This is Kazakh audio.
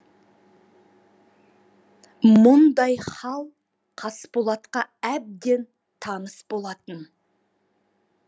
мұндай хал қасболатқа әбден таныс болатын